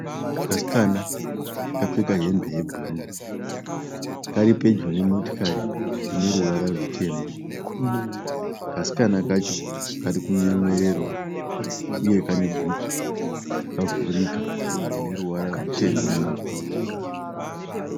Kasikana kakapfeka hembe yebhuruu kari pedyo nemotokari ine ruvara rutema. Kasikana kacho kari kunyemwererawo uye kane bhutsu dzakavhurika dzine ruvara ruchena mumakumbo.